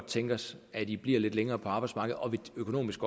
tænke os at de bliver lidt længere på arbejdsmarkedet og vi økonomisk